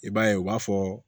I b'a ye u b'a fɔ